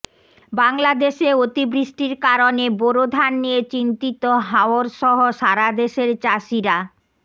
বাংলাদেশে অতিবৃষ্টির কারণে বোরো ধান নিয়ে চিন্তিত হাওরসহ সারাদেশের চাষীরা